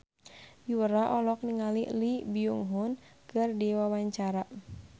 Yura olohok ningali Lee Byung Hun keur diwawancara